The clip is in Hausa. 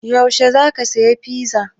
Yaushe za ka saya fiza?